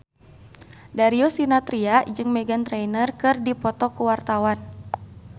Darius Sinathrya jeung Meghan Trainor keur dipoto ku wartawan